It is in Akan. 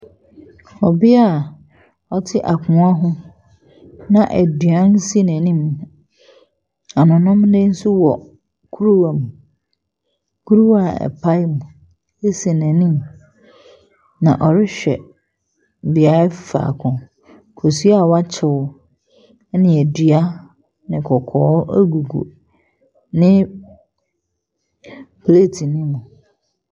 ℇbea a ɔte akongua ho na aduan si n’anim, anononneɛ nso wɔ kuruwa mu. Kuruwa a ɛpae mu si n’anim. Na ɔrehwɛ beaeɛ faako. Kosua a wɔkyew ne adua ɛna kɔkɔɔ gugu ne plate no mu.